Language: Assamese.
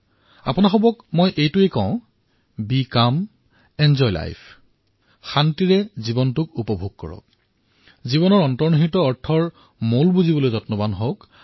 আপোনালোকক মই এয়াই কম যে শান্ত হৈ নিজৰ জীৱন উপবোগ কৰক জীৱনৰ অন্তৰ্নিহিত আনন্দসমূহ উপভোগ কৰক